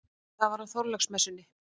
Það var á Þorláksmessunni.